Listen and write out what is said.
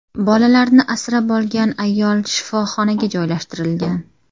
Bolalarni asrab olgan ayol shifoxonaga joylashtirilgan.